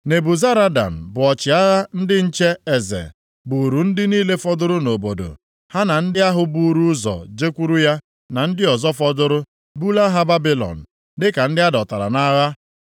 Nebuzaradan bụ ọchịagha ndị nche eze, buuru ndị niile fọdụrụ nʼobodo, ha na ndị ahụ buuru ụzọ jekwuru ya, na ndị ọzọ fọdụrụ, bulaa ha Babilọn, dịka ndị a dọtara nʼagha.